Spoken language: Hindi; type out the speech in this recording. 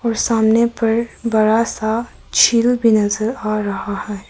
सामने पर बड़ा सा झील भी नजर आ रहा है।